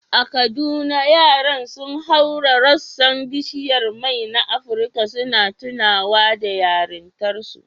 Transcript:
A Kaduna, yaran sun haura rassan bishiyar mai na Afrika, suna tunawa da yarintarsu.